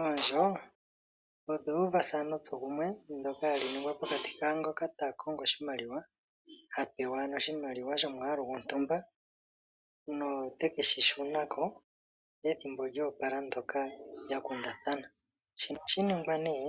Oondjo odho euvathano tsokumwe ndoka hali ningwa pokati kaangoka ta kongo oshimaliwa, ha pewa ano oshimaliwa shomwaalu gontumba no te keshi shuna ko, ethimbo lyoopala ndoka ya kundathana. Shino ohashi ningwa nee